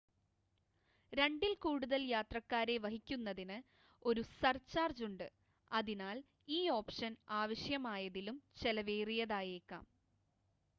2-ൽ കൂടുതൽ യാത്രക്കാരെ വഹിക്കുന്നതിന് ഒരു സർചാർജ് ഉണ്ട് അതിനാൽ ഈ ഓപ്ഷൻ ആവശ്യമായതിലും ചെലവേറിയതായേക്കാം